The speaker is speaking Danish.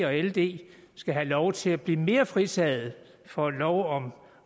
og ld skal have lov til at blive mere fritaget for lov om